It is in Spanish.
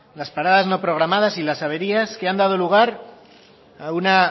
las paradas no programadas y las averías que han dado lugar a una